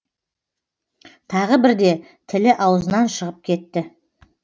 тағы бірде тілі аузынан шығып кетті